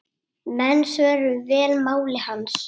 Menn svöruðu vel máli hans.